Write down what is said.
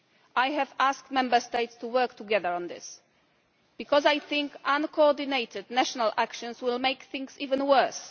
I have asked Member States to work together on this because I think uncoordinated national action will make things even worse.